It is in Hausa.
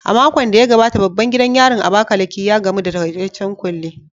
A makon da ya gabata, babban gidan yarin Abakaliki, ya gamu da takaitaccen kulle